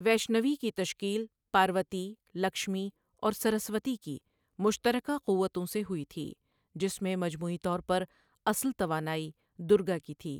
ویشنوی کی تشکیل پاروتی، لکشمی اور سرسوتی کی مشترکہ قوتوں سے ہوئی تھی جس میں مجموعی طور پر اصل توانائی دُرگا کی تھی۔